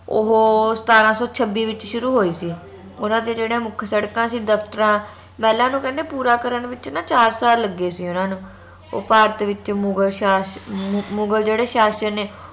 ਓਹੋ ਸਤਾਰਾਂ ਸੋ ਛੱਬੀ ਵਿਚ ਸ਼ੁਰੂ ਹੋਈ ਸੀ ਓਨਾ ਦੀ ਜਿਹੜੇ ਮੁਖ ਸੜਕਾਂ ਸੀ ਦਫਤਰਾਂ ਮਹਿਲਾਂ ਨੂੰ ਕਹਿੰਦੇ ਪੂਰਾ ਕਰਨ ਵਿਚ ਨਾ ਚਾਰ ਸਾਲ ਲੱਗੇ ਸੀ ਉੰਨਾ ਨੂੰ ਉਹ ਭਾਰਤ ਵਿਚ ਮੁਗ਼ਲ ਸ਼ਾਸ਼ਕ ਮੁਗਲ ਜਿਹੜੇ ਸ਼ਾਸ਼ਕ ਨੇ